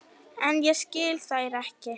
En ég skil þær ekki.